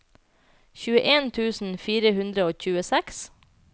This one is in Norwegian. tjueen tusen fire hundre og tjueseks